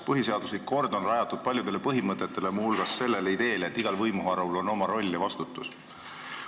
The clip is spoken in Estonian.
Põhiseaduslik kord on rajatud paljudele põhimõtetele, muu hulgas sellele ideele, et igal võimuharul on oma roll ja vastutus.